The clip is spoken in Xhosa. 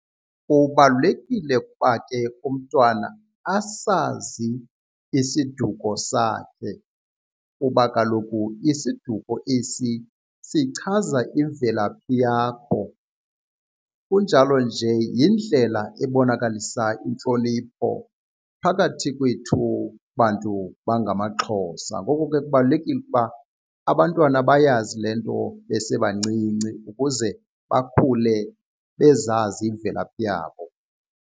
Kubalulekile ukuba ke umntwana asazi isiduko sakhe kuba kaloku isiduko esi sichaza imvelaphi yakho, kunjalo nje yindlela ebonakalisa intlonipho phakathi kwethu bantu bangamaXhosa. Ngoko ke kubalulekile ukuba abantwana bayazi le nto besebancinci ukuze bakhule bezazi imvelaphi yabo.